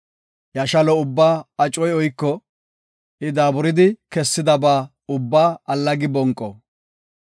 Iya shalo ubbaa acoy oyko; I daaburidi kessidaba ubba allagi bonqo.